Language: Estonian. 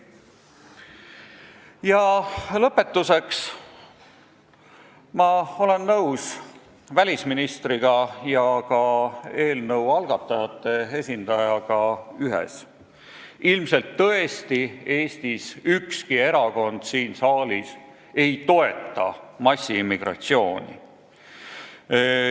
Ja lõpetuseks, ma olen välisministriga ja ka eelnõu algatajate esindajaga nõus ühes: ilmselt tõesti ükski Eesti erakond siin saalis ei toeta massiimmigratsiooni.